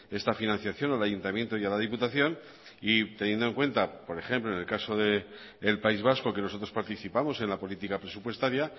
esta financiación al ayuntamiento y a la diputación y teniendo en cuenta por ejemplo en el caso del país vasco que nosotros participamos en la política presupuestaria